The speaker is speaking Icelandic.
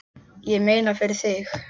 Ég meina, fyrir þig.